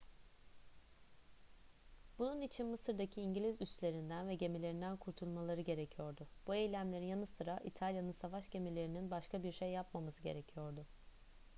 bunun için mısır'daki i̇ngiliz üslerinden ve gemilerinden kurtulmaları gerekiyordu. bu eylemlerin yanı sıra i̇talya'nın savaş gemilerinin başka bir şey yapmaması gerekiyordu